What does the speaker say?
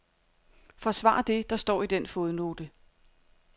Forsvar det, der står i den fodnote.